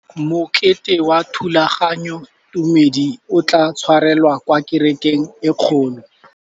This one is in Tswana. Mokete wa thulaganyôtumêdi o tla tshwarelwa kwa kerekeng e kgolo.